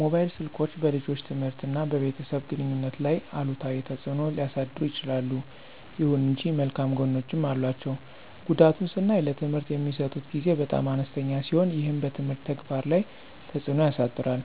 ሞባይል ስልኮች በልጆች ትምህርት እና በቤተሰብ ግንኙነት ላይ አሉታዊ ተጽዕኖ ሊያሳድሩ ይችላሉ። ይሁን እንጂ መልካም ጎኖችም አሏቸው። ጉዳቱን ስናይ ለትምህርት የሚሰጡት ጊዜ በጣም አነስተኛ ሲሆን ይህም በትምህርት ተግባር ላይ ተጽዕኖ ያሳድራል።